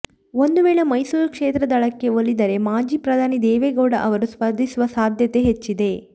ಒಂದು ವೇಳೆ ಮೈಸೂರು ಕ್ಷೇತ್ರ ದಳಕ್ಕೆ ಒಲಿದರೆ ಮಾಜಿ ಪ್ರಧಾನಿ ದೇವೇಗೌಡ ಅವರು ಸ್ಪರ್ಧಿಸುವ ಸಾಧ್ಯತೆ ಹೆಚ್ಚಿದೆ